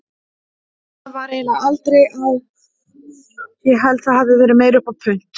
Það var eiginlega aldrei á, ég held það hafi verið meira upp á punt.